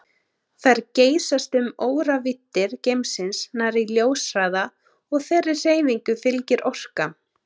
Þær geysast um óravíddir geimsins nærri ljóshraða og þeirri hreyfingu fylgir orka.